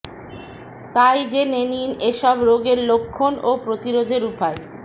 তাই জেনে নিন এসব রোগের লক্ষণ ও প্রতিরোধের উপায়